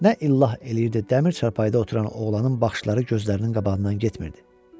Nə illah eləyirdi, dəmir çarpayıda oturan oğlanın baxışları gözlərinin qabağından getmirdi.